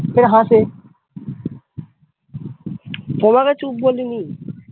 এ হাসে তোমাকে চুপ বলিনি ।